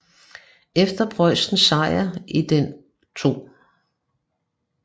Efter Preussens sejr i den 2